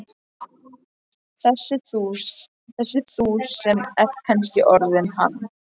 Þessi þú sem ert kannski orðinn hann.